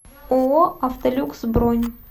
ооо автолюкс бронь